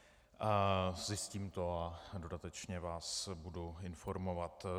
Zjistím to a dodatečně vás budu informovat.